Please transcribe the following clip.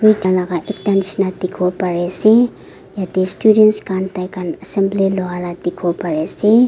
dikhiwo pari ase yate students khan taikhan assembly lua la dikhibo pari ase.